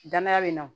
Danaya be na